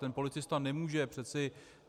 Ten policista nemůže přece...